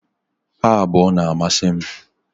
Ha abuo na-amasi m